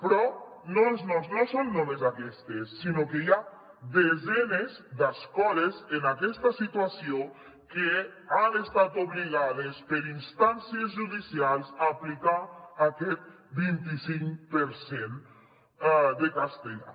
però no són només aquestes sinó que hi ha desenes d’escoles en aquesta situació que han estat obligades per instàncies judicials a aplicar aquest vint i cinc per cent de castellà